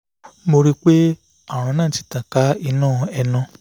mo rí pé ààrùn náà ti tàn ká inú ẹnu